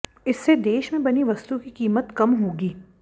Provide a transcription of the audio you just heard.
इससे देश में बनी वस्तु की कीमत कम होगी